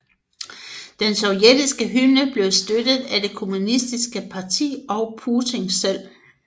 Den sovjetiske hymne blev støttet af det Kommunistiske Parti og Putin selv